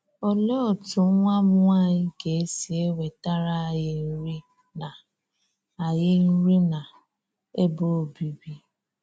Olee otú nwa m nwanyị ga-esi enwetara ànyí nri na ànyí nri na ebe obíbi?